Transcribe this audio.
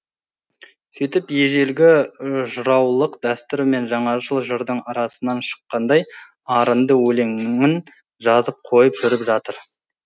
сөйтіп ежелгі жыраулық дәстүр мен жаңашыл жырдың арасынан шаққандай арынды өлеңін жазып қойып жүріп жатыр